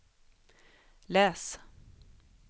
läs